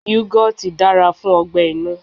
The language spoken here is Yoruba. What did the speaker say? Yugoti dára fún ọgbẹ-inú.